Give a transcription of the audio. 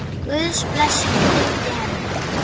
Guðs blessun fylgi henni.